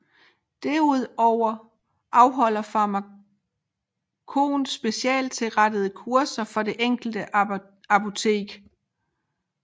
Derudover afholder Pharmakon specialstilrettede kurser for det enkelte apotek